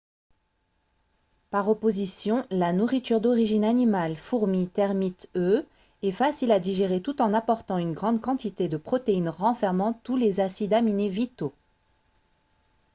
par opposition la nourriture d'origine animale fourmis termites œufs est facile à digérer tout en apportant une grande quantité de protéines renfermant tous les acides aminés vitaux